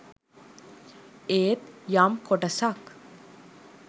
ඒත් යම් කොටසක්